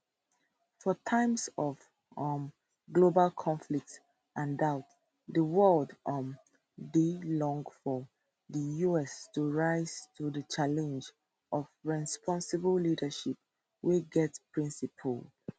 for time of um global conflict and doubt di world um dey long for di us to rise to di challenge of responsible leadership wey get principled